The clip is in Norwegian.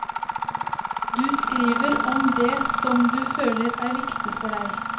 Du skriver om det som du føler er viktig for deg.